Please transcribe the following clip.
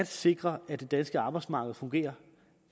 sikre at det danske arbejdsmarked fungerer